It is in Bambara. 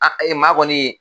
A maa kɔni